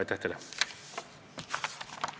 Aitäh teile!